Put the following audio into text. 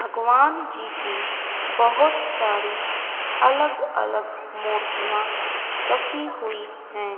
भगवान जी की बहोत सारी अलग अलग मूर्तियां रखी हुई हैं।